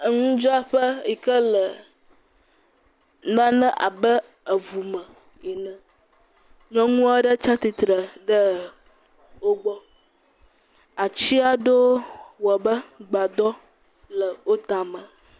Eŋudzraƒe yike le nane abe eŋume ene, nyɔnuɔɖe tsatsitre ɖe wogbɔ. Atsiaɖewo wɔbe gbadɔ le otame.